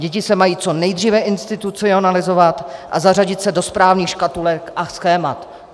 Děti se mají co nejdříve institucionalizovat a zařadit se do správných škatulek a schémat.